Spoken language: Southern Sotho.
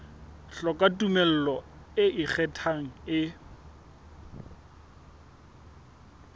hloka tumello e ikgethang e